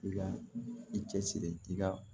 I ka i cɛsiri i ka